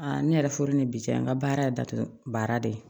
ne yɛrɛ furu ni bi cɛ n ka baara ye datugu baara de ye